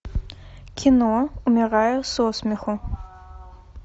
кино умираю со смеху